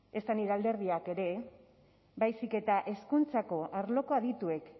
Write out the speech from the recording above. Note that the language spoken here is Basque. ezta nire alderdiak ere baizik eta hezkuntzako arloko adituek